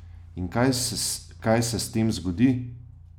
In kaj se s tem zgodi?